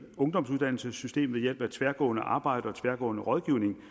ungdomsuddannelsessystemet ved hjælp af tværgående arbejde og tværgående rådgivning